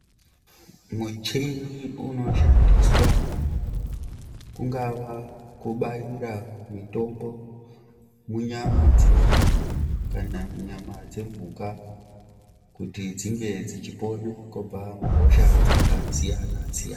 Mucheni unishandiswa pangava pakubaira mitombo munyama dzedu kana munyama dzemhuka kuti dzinge dzichipona kubva muhosha dzakasiyana siyana .